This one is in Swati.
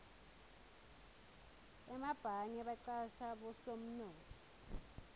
emabhange bacasha bosomnotfo